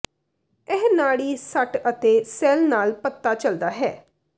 ਇਹ ਨਾੜੀ ਸੱਟ ਅਤੇ ਸੈੱਲ ਨਾਲ ਪਤਾ ਚੱਲਦਾ ਹੈ